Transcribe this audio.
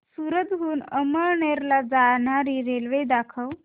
सूरत हून अमळनेर ला जाणारी रेल्वे दाखव